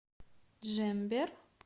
джембер